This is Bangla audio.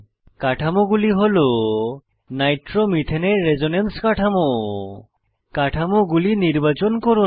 কাঠামোগুলি হল নাইট্রোমিথেনের রেসোনেন্স কাঠামো কাঠামোগুলি নির্বাচন করুন